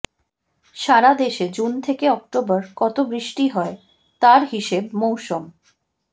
সারা দেশে জুন থেকে অক্টোবর কত বৃষ্টি হয় তার হিসেব মৌসম